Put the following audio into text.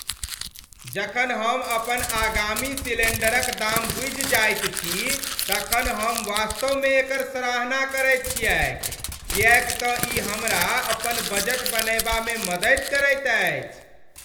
जखन हम अपन आगामी सिलेण्डरक दाम बूझि जाइत छी तखन हम वास्तवमे एकर सराहना करैत छियैक किएक तँ ई हमरा अपन बजट बनयबामे मदति करैत अछि।